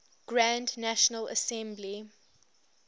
grand national assembly